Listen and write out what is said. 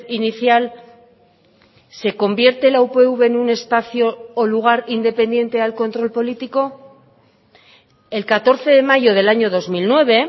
inicial se convierte la upv en un espacio o lugar independiente al control político el catorce de mayo del año dos mil nueve